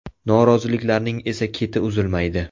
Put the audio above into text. Noroziliklarning esa keti uzilmaydi.